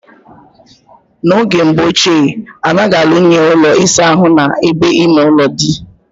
Na oge mbo oche, anaghi alu nye Ụlọ ịsa ahụ na ebe ime-ulo di.